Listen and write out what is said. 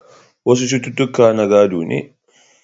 Wasu cututtuka na gado ne.